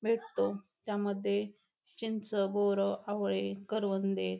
भेटतो त्यामध्ये चिंच बोर आवळे करवंदे --